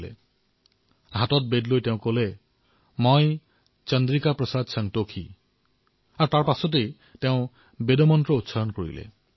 তেওঁৰ নিজৰ হাতত বেদ লৈ কৈছিল মই শ্ৰী চন্দ্ৰিকা প্ৰসাদ সন্তোষী আৰু আগলৈ তেওঁ শপতত কি কলে তেওঁ বেদৰেই এটা মন্ত্ৰ উচ্চাৰণ কৰিলে